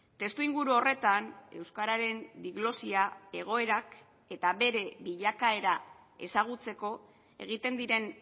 testu inguru horretan euskararen diglosia egoerak eta bere bilakaera ezagutzeko egiten diren